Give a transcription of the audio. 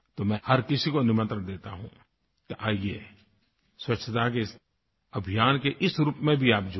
तो मैं हर किसी को निमंत्रण देता हूँ कि आइये स्वच्छता के इस अभियान के इस रूप में भी आप जुड़ें